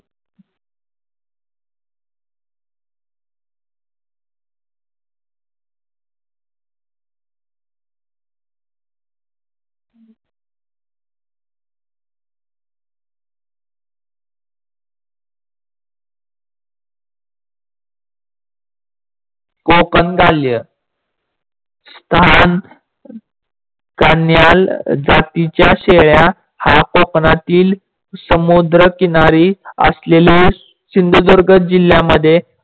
कोकण काल्य कन्याल जातीच्या शेळी हा कोकणातील समुद्र किनारी असलेले सिंधुदुर्ग जिल्ह्यामध्ये